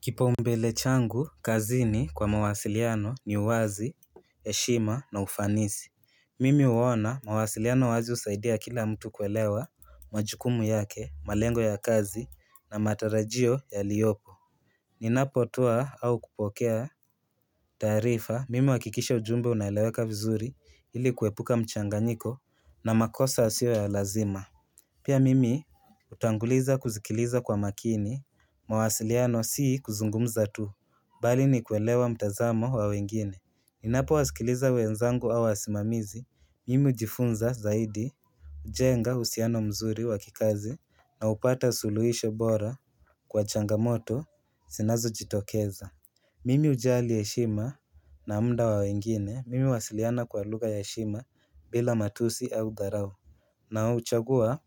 Kipau mbele changu, kazini kwa mawasiliano ni uwazi, heshima na ufanisi Mimi huona mawasiliano wazi husaidia kila mtu kuelewa majukumu yake, malengo ya kazi na matarajio yaliyopo Ninapotoa au kupokea taarifa, mimi huakikisha ujumbe unaeleweka vizuri ili kuepuka mchanganyiko na makosa yasiyo ya lazima Pia mimi utanguliza kuzikiliza kwa makini, mawasiliano si kuzungumza tu, bali ni kuelewa mtazamo wa wengine. Ninapo wasikiliza wenzangu au wasimamizi, mimi hujifunza zaidi, kujenga uhusiano mzuri wa kikazi, na hupata suluhisho bora kwa changamoto zinazo jitokeza. Mimi hujali heshima na muda wa wengine, mimi huwasiliana kwa lugha ya heshima bila matusi au dharau. Na huchagua